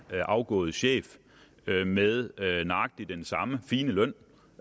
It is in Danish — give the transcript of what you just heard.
afgået chef med nøjagtig den samme fine løn